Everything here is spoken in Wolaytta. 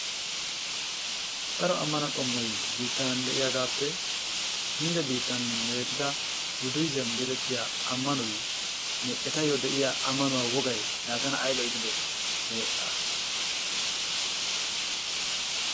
Daro ammano qommoy biittan de'iyagaappe Hindde biittan meezetida Buddiizem geetettiyageenne etayyo de'iya ammanuwa wogay laa tana ayba iitidee!